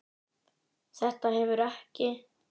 Þetta hefur ekki?